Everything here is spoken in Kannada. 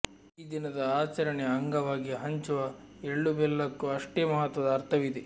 ಈ ದಿನದ ಆಚರಣೆಯ ಅಂಗವಾಗಿ ಹಂಚುವ ಎಳ್ಳು ಬೆಲ್ಲಕ್ಕೂ ಅಷ್ಟೇ ಮಹತ್ವದ ಅರ್ಥವಿದೆ